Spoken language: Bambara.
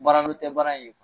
Baara tɛ baara in ye.